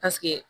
Paseke